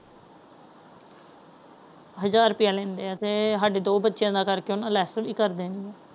ਹਜਾਰ ਰੁਪਈਆਲੈਂਦੇ ਹੈ ਤੇ ਅਸਾਡੇ ਦੋ ਬੱਚਿਆਂ ਦਾ ਕਰਕੇ ਉਹਨਾਂ ਲੈੱਸ ਵੀ ਕਰ ਦੇਣੀ ਹੈ।